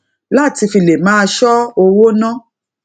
láti fi lè máa ṣọ owó ná